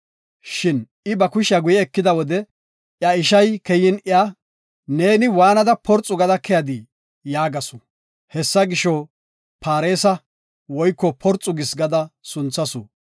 Shin I ba kushiya guye ekida wode, iya ishay keyin iya, “Neeni waanada porxu gada keyadii?” yaagasu. Hessa gisho, Paaresa (Porxu gis) gada sunthasu.